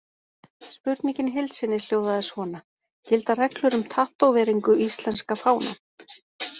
Spurningin í heild sinni hljóðaði svona: Gilda reglur um tattóveringu íslenska fánann?